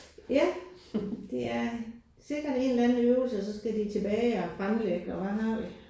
Ja. Det er sikkert en eller anden øvelse og så skal de tilbage og fremlægge og hvad har vi